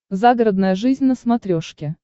загородная жизнь на смотрешке